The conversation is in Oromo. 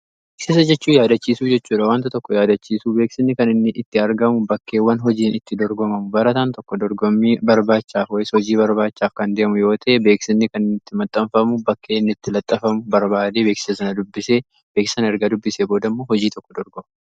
Beeksisa jechuun yaadachiisuu jechuudha. Wanta tokko yaadachiisuu. Beeksisni kan inni itti argamu bakkeewwan hojiin itti dorgomamu. Barataan tokko dorgomii barbaachaaf yookiis hojii barbaachaaf kan deemu yoo ta'e beeksisni kan itti maxxanfamu bakkee inni itti laxxafamu barbaadee beeksisa sana dubbisee beeksisa sana erga dubbisee booda immoo hojii tokko dorgoma.